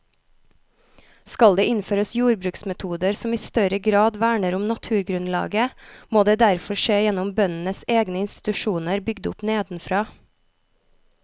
Skal det innføres jordbruksmetoder som i større grad verner om naturgrunnlaget, må det derfor skje gjennom bøndenes egne institusjoner bygd opp nedenfra.